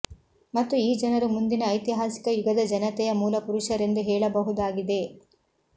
ಮತ್ತು ಈ ಜನರು ಮುಂದಿನ ಐತಿಹಾಸಿಕ ಯುಗದ ಜನತೆಯ ಮೂಲಪುರುಷರೆಂದು ಹೇಳಬಹುದಾಗಿದೆ